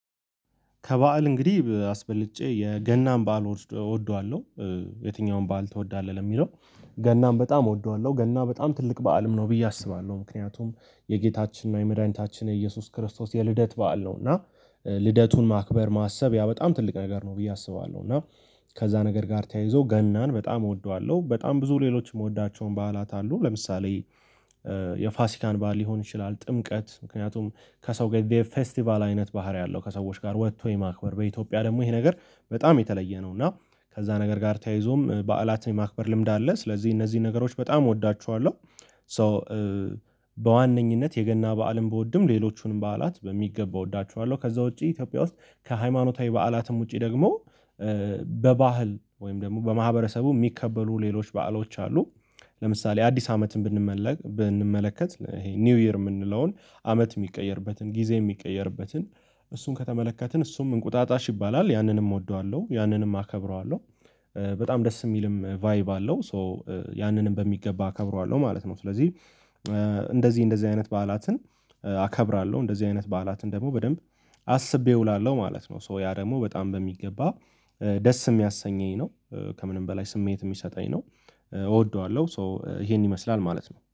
ከበዓል እንግዲህ አስበልጬ የገናን በዓል እወስደ እወደዋለሁ። የትኛውም በዓል ትወዳለህ የሚለው? ገናም በጣም እወደዋለሁ ገና በጣም ትልቅ በዓልም ነው ብዬ አስባለሁ። ምክንያቱም የጌታችን እና የመድኃኒታችን የኢየሱስ ክርስቶስ የልደት በዓል ነው። እና ኧ ልደቱን ማክበር ማሰብ ያ በጣም ትልቅ ነገር ነው ብዬ አስባለሁ። እና ከዛ ነገር ጋር ተያይዞ ገናን በጣም እወደዋለሁ በጣም ብዙ ሌሎች እምወዳቸውም በዓላት አሉ። ለምሳሌ ኧ የፋሲካን በዓል ሊሆን ይችላል። ጥምቀት ምክንያቱም ከሰው ጋር ፌስቲቫል አይነት ባህሪ አለው። ከሰዎች ጋር ወጥቶ የማክበር በኢትዮጵያ ደግሞ ይሄ ነገር በጣም የተለየ ነው። እና ከዛ ነገር ጋር ተያይዞም በዓላት የማክበር ልምድ አለ ስለዚህ እነዚህ ነገሮች በጣም እወዳችኋለሁ። ሶ በዋነኝነት የገና በዓልም ብወድም ሌሎቹንም በዓላት በሚገባ እወዳቸዋለሁ። ከዛ ውጪ ኢትዮጵያ ውስጥ ከሃይማኖታዊ በዓላትም ውጪ ደግሞ ኧ በባህል ወይም ደግሞ በማህበረሰቡ የሚከበሩ ሌሎች በዓሎች አሉ። ለምሳሌ አዲስ አመትን ብንመለክ ብንመለከት ይሄ ኒው ይር እምንለውን አመት የሚቀየርበትን ጊዜ የሚቀየርበትን እሱን ከተመለከትን እሱም እንቁጣጣሽ ይባላል ያንንም እወደዋለሁ ያንንም አከብረዋለሁ። በጣም ደስ እሚልም ቫይብ አለው ሶ ያንንም በሚገባ አከብረዋለሁ ማለት ነው። ስለዚህ ኧ እንደዚህ እንደዚህ አይነት በዓላትን ኧ አከብራለሁ እንደዚህ አይነት በዓላትን ደግሞ በደንብ አስቤ እውላለሁ ማለት ነው። ሶ ያ ደግሞ በጣም በሚገባ ኧ ደስ እሚያሰኘኝ ነው። ከምንም በላይ ስሜት እሚሰጠኝ ነው። እወደዋለሁ ሶ ይሄን ይመስላል ማለት ነው